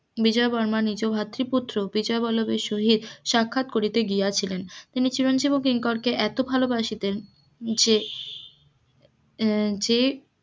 বিজয়াবর্মা নিজ ভাতৃপুত্র বিজয়বল্লভের সহিত সাক্ষাত করিতে গিয়াছিলেন, তিনি চিরঞ্জীব ও কিংকরকে এত ভালোবাসিতেন যে যে আহ